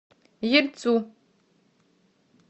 ельцу